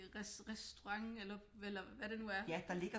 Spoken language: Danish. Restaurant eller hvad det nu er